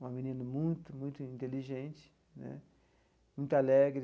Uma menina muito, muito inteligente né, muito alegre.